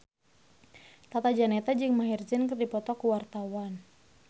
Tata Janeta jeung Maher Zein keur dipoto ku wartawan